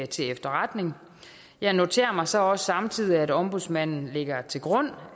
til efterretning jeg noterer mig så også samtidig at ombudsmanden lægger til grund